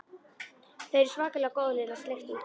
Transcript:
Þau eru svakalega góð Lilla sleikti út um.